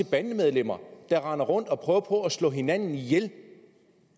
bandemedlemmer render rundt og prøver på at slå hinanden ihjel